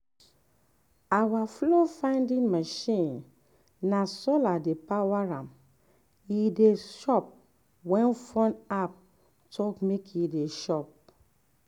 our fowl-feeding machine na solar dey power am e dey chop when phone app talk make e chop.